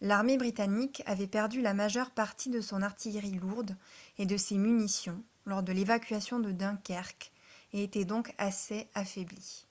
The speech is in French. l’armée britannique avait perdu la majeure partie de son artillerie lourde et de ses munitions lors de l’évacuation de dunkerque et était donc assez affaiblie